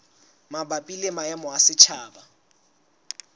mabapi le maemo a setjhaba